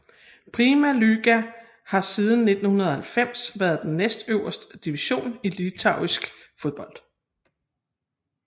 Pirma lyga har siden 1990 været den næstøverste division i litauisk fodbold